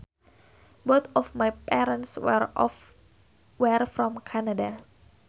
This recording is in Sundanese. Both of my parents were from Canada